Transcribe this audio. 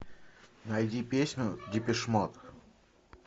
найди песню депеш мод